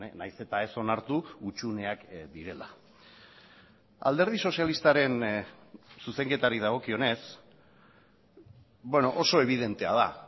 nahiz eta ez onartu hutsuneak direla alderdi sozialistaren zuzenketari dagokionez oso ebidentea da